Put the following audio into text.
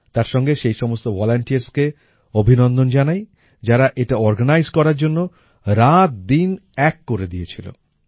তার সঙ্গে সেই সমস্ত volunteersকে অভিনন্দন জানাই যারা এটা অর্গানাইজ করার জন্য রাত দিন এক করে দিয়েছিল